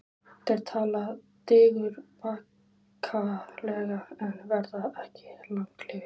Þeir tala digurbarkalega en verða ekki langlífir.